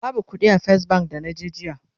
babu ƙuɗi a fes bank da naje jiya